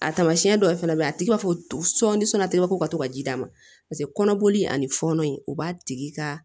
A taamasiyɛn dɔ fana bɛ yen a tigi b'a fɔ sɔɔni sɔnna t'i ka ko ka to ka ji d'a ma paseke kɔnɔboli ani fɔɔnɔ in o b'a tigi ka